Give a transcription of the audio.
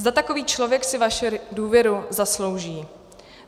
Zda takový člověk si vaši důvěru zaslouží.